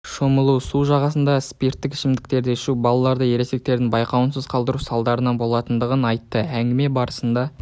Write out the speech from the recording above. шомылу су жағасында спиттік ішімдіктерді ішу балаларды ересектердің байқауынсыз қалдыру салдарынан болатындығын айтты әңгіме барысында